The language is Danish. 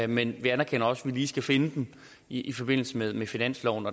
men vi anerkender også lige skal finde dem i forbindelse med med finansloven